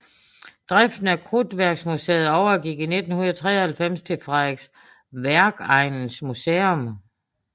Driften af Krudtværksmuseet overgik i 1993 til Frederiksværkegnens Museum